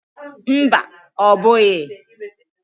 Mba ọ bughi